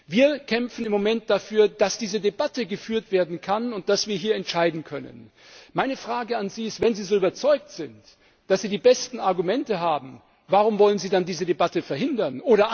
Wir kämpfen im Moment dafür, dass diese Debatte geführt werden kann, und dass wir hier entscheiden können. Meine Frage an Sie ist Wenn Sie so überzeugt sind, dass Sie die besten Argumente haben, warum wollen Sie dann diese Debatte verhindern?